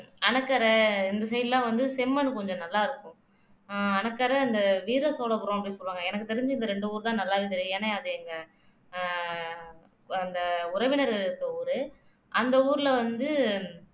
அணைக்கரை இந்த side லாம் வந்து செம்மண் கொஞ்சம் நல்லா இருக்கும் ஆஹ் அணைக்கரை அந்த வீர சோழபுரம் அப்படின்னு சொல்லுவாங்க எனக்கு தெரிஞ்சு இந்த ரெண்டு ஊர்தான் நல்லாவே தெரியும் ஏன்னா அது எங்க அஹ் அந்த உறவினர்கள் இருக்க ஊரு அந்த ஊர்ல வந்து